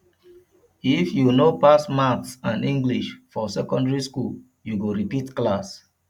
if you no pass maths and english for secondary skool you go repeat class